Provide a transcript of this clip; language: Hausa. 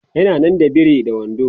yana nan da biri da wando